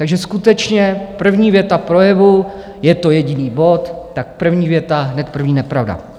Takže skutečně první věta projevu, je to jediný bod, tak první věta hned první nepravda.